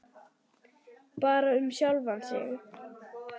Bara um sjálfan sig.